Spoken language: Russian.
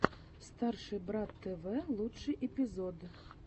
старший брат тв лучший эпизод